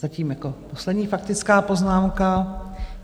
Zatím jako poslední faktická poznámka.